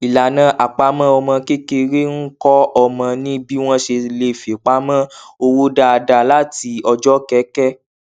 ìlànà àpamọ ọmọ kékeré ń kọ ọmọ ní bí wọn ṣe le fipamọ owó dáadáa láti ọjọ kẹkẹ